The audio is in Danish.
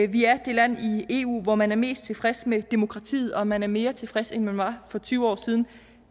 vi er det land i eu hvor man er mest tilfreds med demokratiet og man er mere tilfreds end man var for tyve år siden